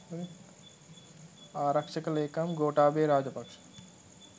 ආරක්ෂක ලේකම් ගෝඨාභය රාජපක්ෂ